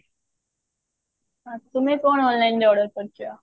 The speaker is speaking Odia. ଆ ତୁମେ କଣ online ରେ order କରିଛ?